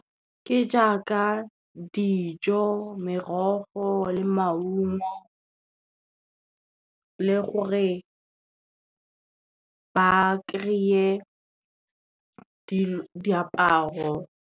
Ke jaaka dijo, merogo le maungo le gore ba kry-e diaparo.